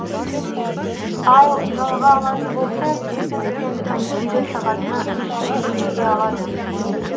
ал жалға алатын болса тюбинг пен конькиді сағатына үш жүз теңгеге алады